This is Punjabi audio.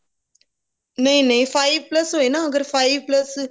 ਨਹੀਂ ਨਹੀਂ five plus ਹੋਏ ਨਾ ਅਗਰ five plus